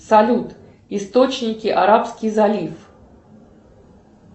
салют источники арабский залив